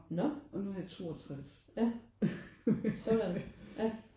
Når? Ja sådan ja